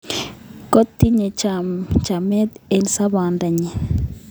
Kotinye chamet eng' somanet nyi